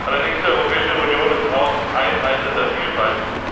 Allerdings ist die Europäische Union auch Einheit in der Vielfalt.